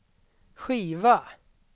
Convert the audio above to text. skiva